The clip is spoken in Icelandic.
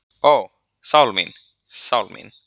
Ó, sál mín, sál mín.